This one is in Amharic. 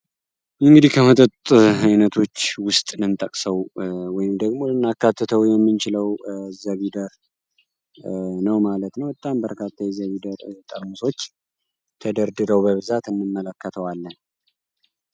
እንግዲህ ከመጠት ዓይነቶች ውስጥ ልንጠቅሰው ወይም ደግሞ እናካትተው የሚንችለው ዘቪደር ነው ማለት ነው። በጣም በርካታ ዘቪደር ጠርሞሶች ተደርድረው በብዛት እንመለከተዋለ።